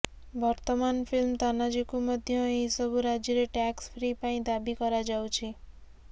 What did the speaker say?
ବର୍ତ୍ତମାନ ଫିଲ୍ମ ତାନାଜୀକୁ ମଧ୍ୟ ଏହିସବୁ ରାଜ୍ୟରେ ଟ୍ୟାକ୍ସ ଫ୍ରି ପାଇଁ ଦାବି କରାଯାଉଛି